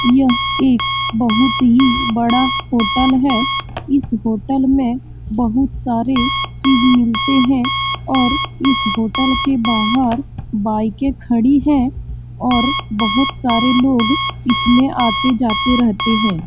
यह एक बहुत ही बड़ा होटल है इस होटल में बहुत सारे चीज मिलते हैं और इस होटल के बाहर बाइकें खड़ी है और बहुत सारे लोग इसमें आते-जाते रहते है ।